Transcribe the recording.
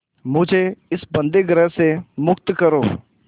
मुझे इस बंदीगृह से मुक्त करो